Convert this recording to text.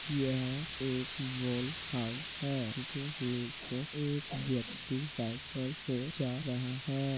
यह एक wall house है जिसके नीचे एक व्यक्ति साइकिल से जा रहा है।